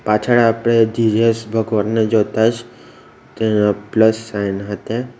પાછળ આપણે જીજસ ભગવાનને જોતા જ ત પ્લસ સાઈન હતે.